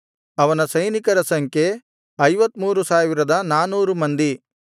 ಅವನ ಸೈನಿಕರ ಸಂಖ್ಯೆ 53400 ಮಂದಿ